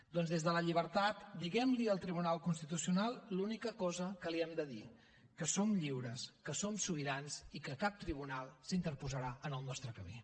doncs des de la llibertat diguem li al tribunal constitucional l’única cosa que li hem de dir que som lliures que som sobirans i que cap tribunal s’interposarà en el nostre camí